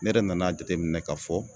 Ne yɛrɛ nan'a jateminɛ k'a fɔ